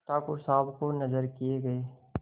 ठाकुर साहब को नजर किये गये